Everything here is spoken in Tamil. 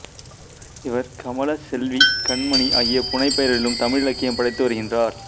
இவர் கமலச் செல்வி கண்மணி ஆகிய புனைப்பெயர்களிலும் தமிழ் இலக்கியம் படைத்து வருகின்றார்